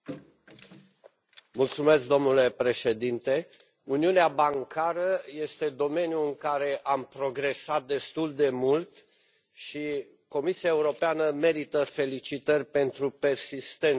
Domnule președinte, uniunea bancară este domeniul în care am progresat destul de mult și Comisia Europeană merită felicitări pentru persistență în acest domeniu.